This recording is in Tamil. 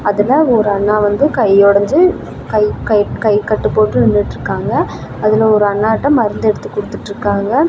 அதுல ஒரு அண்ணா வந்து கை ஒடஞ்சு கை கை கைகட்டு போட்டு நின்னுட்டுருக்காங்க. அதுல ஒரு அண்ணாட மருந்து எடுத்து கொடுத்துட்டுருக்காங்க.